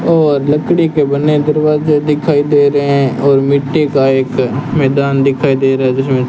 और लकड़ी के बने दरवाजे दिखाई दे रहे हैं और मिट्टी का एक मैदान दिखाई दे रहा है जिसमें--